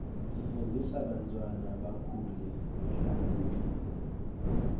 tifundzisa bantwana bakhule behlakaniphile